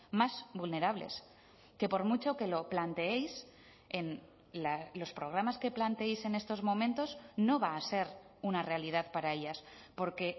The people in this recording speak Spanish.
más vulnerables que por mucho que lo planteéis en los programas que planteéis en estos momentos no va a ser una realidad para ellas porque